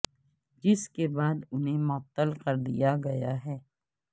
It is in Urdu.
جس کے بعد انہیں معطل کر دیا گیا ہے